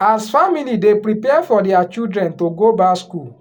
as family dey prepare for their children to go back school